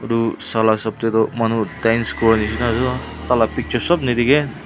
etu sua laga hisab te tu manu dance kori nisna aru tar laga picture sob na dekhe.